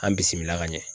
An bisimila ka ɲɛ